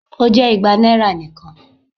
O jẹ igba naira nikan